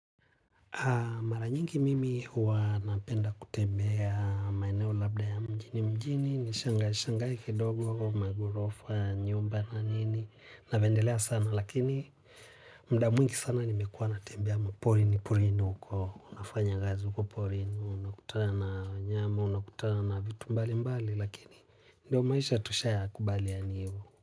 Maranyingi mimi huwa napenda kutembea maeneo labda ya mjini mjini, nishangae shangae kidogo, magorofa, nyumba na nini, napendelea sana lakini muda mwingi sana nimekuwa natembeya maporini porini huko, unafanya kazi huko porini, unakutana na wanyama, unakutana na vitu mbali mbali lakini ndio maisha tusha ya kubali yani.